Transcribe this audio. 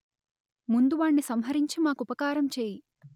ముందు వాణ్ణి సంహరించి మాకుపకారం చేయి